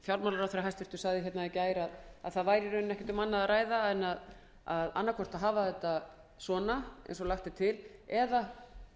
fjármálaráðherra sagði hérna í gær að í rauninni væri ekki um annað að ræða en annaðhvort að hafa þetta eins og lagt er til eða